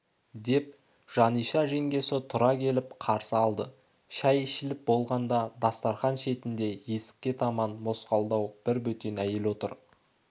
деп жаниша жеңгесі тұра келіп қарсы алды шай ішіліп болған дастарқан шетінде есікке таман мосқалдау бір бөтен әйел отыр